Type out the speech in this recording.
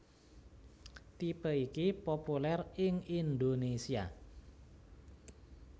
Tipe iki populèr ing Indonésia